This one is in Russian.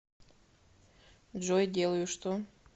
джой делаю что